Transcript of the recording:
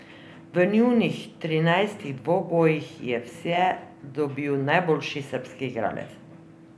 V njunih trinajstih dvobojih je vse dobil najboljši srbski igralec.